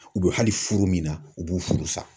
U bɛ hali furu min na , u b'o furu sa!